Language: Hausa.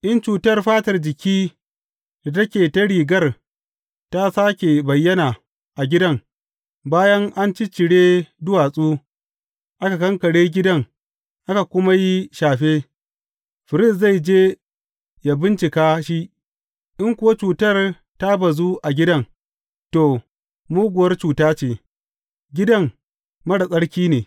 In cutar fatar jiki da take ta rigar ta sāke bayyana a gidan bayan an ciccire duwatsu aka kankare gidan aka kuma yi shafe, firist zai je ya bincika shi, in kuwa cutar ta bazu a gidan, to, muguwar cuta ce; gidan marar tsarki ne.